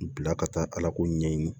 Bila ka taa ala ko ɲɛɲini